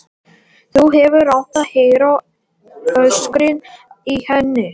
Þú hefðir átt að heyra öskrin í henni.